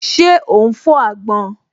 Ṣé ó ún fọ́ àgbọn?